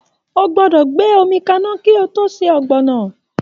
O gbọ́dọ̀ gbé omi kaná kí o tó se Ogbono